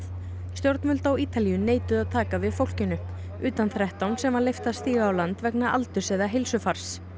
stjórnvöld á Ítalíu neituðu að taka við fólkinu utan þrettán sem var leyft að stíga á land vegna aldurs eða heilsufars